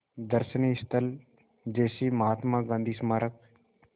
दर्शनीय स्थल जैसे महात्मा गांधी स्मारक